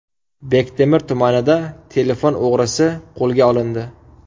Bektemir tumanida telefon o‘g‘risi qo‘lga olindi.